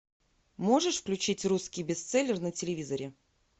можешь включить русский бестселлер на телевизоре